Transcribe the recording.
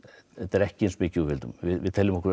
ekki eins mikið við vildum við teljum okkur